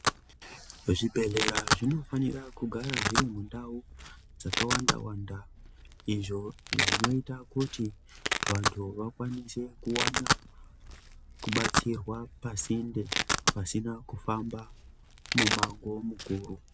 Zvibhedhlera zvinofanira kugara zviri mundau dzakawanda wanda izvo zvinoita kuti vantu vakwanise kuwana kubatsirwa pasinde pasina kufamba mumango mukuru.